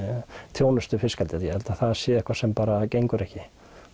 þjónustu við fiskeldið ég held að það sé eitthvað sem bara gengur ekki